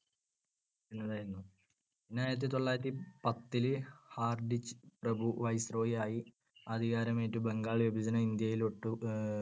ആയിരുന്നു. പിന്നെ ആയിരത്തിതൊള്ളായിരത്തിപത്തിൽ ഹാർഡിൻജ് പ്രഭു viceroy ആയി അധികാരമേറ്റു ബംഗാൾ വിഭജനം ഇന്ത്യയിലൊട്ടു